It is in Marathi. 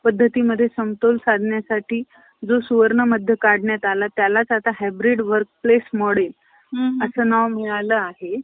प्रबोधनासाठी उपयुक्त ठरेल. याबद्दल कर्वे यांची खात्री होती. पाच-सात पाच-सात वर्षात यांनी अशा प्रकारे सुधारायचे,